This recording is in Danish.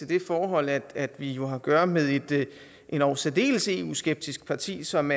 det forhold at vi jo har at gøre med et endog særdeles eu skeptisk parti som